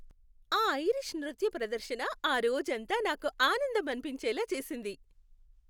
ఆ ఐరిష్ నృత్య ప్రదర్శన ఆ రోజంతా నాకు ఆనందం అనిపించేలా చేసింది.